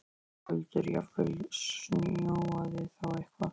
Höskuldur: Jafnvel snjóað þá eitthvað?